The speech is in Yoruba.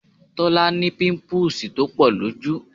Tọ́lá ní pimpuusi tó pọ̀ lójú